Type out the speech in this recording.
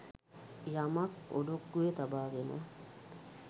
යමක් ඔඩොක්කුවේ තබාගෙන